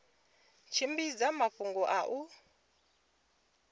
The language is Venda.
u tshimbidza mafhungo a u